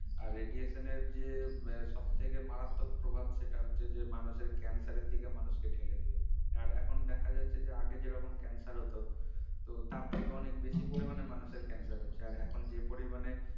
আর radiation এর যে আহ সব থেকে মারাত্মক প্রভাব সেটা হচ্ছে যে মানুষের cancer এর দিকে মানুষকে ঠেলে দেবে আর এখন দেখা যাচ্ছে যে আগে যেরকম cancer হোত তো তার থেকে অনেক বেশি পরিমানে মানুষের cancer হচ্ছে আর এখন যে পরিমানে